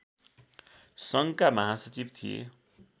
सङ्घका महासचिव थिए